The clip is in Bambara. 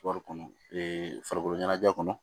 kɔnɔ farikolo ɲɛnajɛ kɔnɔ